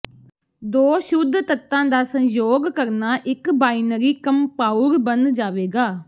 ਦੋ ਸ਼ੁੱਧ ਤੱਤਾਂ ਦਾ ਸੰਯੋਗ ਕਰਨਾ ਇਕ ਬਾਇਨਰੀ ਕੰਪਾਉਰ ਬਣ ਜਾਵੇਗਾ